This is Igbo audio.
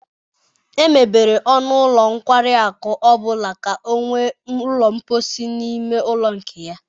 Emebere ọnụ ụlọ nkwari akụ ọ bụla ka ọ nwee ụlọ mposi na ime ụlọ nke ya.